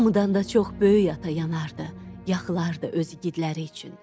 Hamıdan da çox böyük ata yanardı, axılardı öz iqidləri üçün.